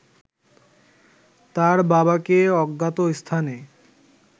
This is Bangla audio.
তার বাবাকে অজ্ঞাত স্থানে